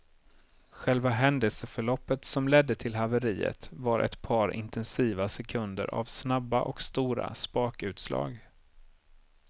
Själva händelseförloppet som ledde till haveriet var ett par intensiva sekunder av snabba och stora spakutslag.